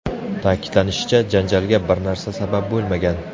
Ta’kidlanishicha, janjalga bir narsa sabab bo‘lmagan.